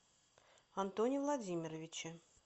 антоне владимировиче